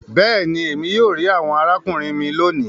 béèni, Èmi yóò ri àwọn arákùnrin mí lóni.